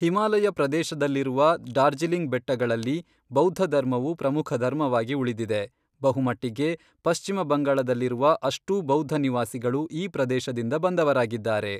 ಹಿಮಾಲಯ ಪ್ರದೇಶದಲ್ಲಿರುವ ಡಾರ್ಜಿಲಿಂಗ್ ಬೆಟ್ಟಗಳಲ್ಲಿ ಬೌದ್ಧಧರ್ಮವು ಪ್ರಮುಖ ಧರ್ಮವಾಗಿ ಉಳಿದಿದೆ, ಬಹುಮಟ್ಟಿಗೆ ಪಶ್ಚಿಮ ಬಂಗಾಳದಲ್ಲಿರುವ ಅಷ್ಟೂ ಬೌದ್ಧ ನಿವಾಸಿಗಳು ಈ ಪ್ರದೇಶದಿಂದ ಬಂದವರಾಗಿದ್ದಾರೆ.